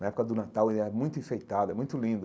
Na época do Natal, ela é muito enfeitada, muito linda.